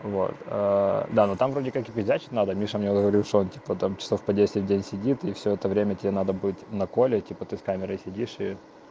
вот а да ну там вроде как и пиздячить надо миша мне говоришь что он типа по часов десять там сидит и все это время тебе надо будет на коле типа ты с камерой сидишь